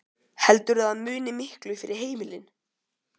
Heldurðu að það muni miklu fyrir heimilin?